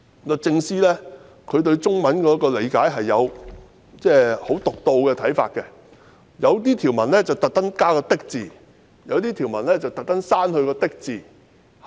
律政司對中文的理解可能有很獨到的看法，有些條文刻意加上"的"字，有些條文則刻意刪去"的"字？